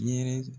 Yɛrɛ